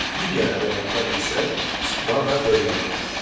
Digər əməliyyatlar isə çıxma və bölmə əməliyyatlarıdır.